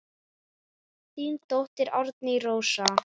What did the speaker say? Þín dóttir Árný Rósa.